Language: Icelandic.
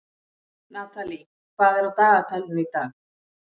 Natalie, hvað er á dagatalinu í dag?